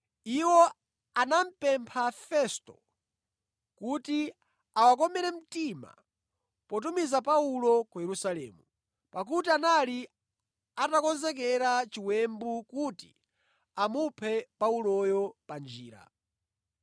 Iwo anamupempha Festo kuti awakomere mtima potumiza Paulo ku Yerusalemu, pakuti anali atakonzekera chiwembu kuti amuphe Pauloyo pa njira.